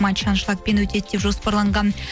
матч аншлагпен өтеді деп жоспарланған